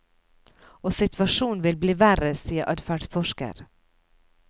Og situasjonen vil bli verre, sier adferdsforsker.